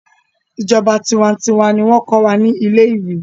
ìjọba tiwantiwa ní wón ko wà ní ilé ìwé.